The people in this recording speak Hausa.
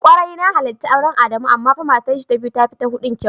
Kwarai na halarci auren Adamu amma fa matarshi ta biyu tafi ta hudun kyau.